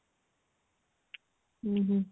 ଉଁ ହୁଁ